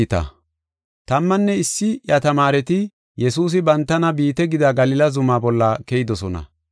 Tammanne issi iya tamaareti Yesuusi bantana biite gida Galila Zumaa bolla Keyidosona.